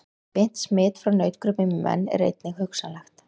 Beint smit frá nautgripum í menn er einnig hugsanlegt.